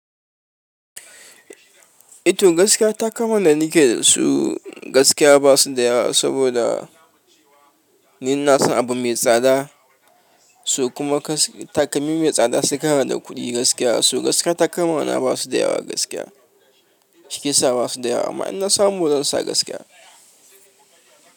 Ito gaskiya takalman da nike da su, gaskiya ba su da yawa saboda ni na san abu mai tsada. Su kuma takalmi mai tsada sai kana da kuɗi gaskiya. So gaskiya ta takama na ba su da yawa gaskiya. Shiyasa ba su da yawa amma in na samu zan sa gaskiya.